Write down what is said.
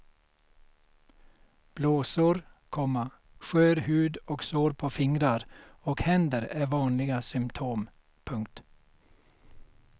Blåsor, komma skör hud och sår på fingrar och händer är vanliga symtom. punkt